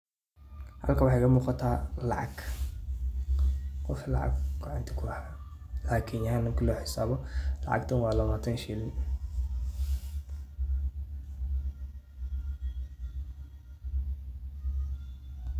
Halkan waxa iga muqaatah, lacag wa lacag lawataan aah ee keenyan lacgtan wa lawataan sheelin.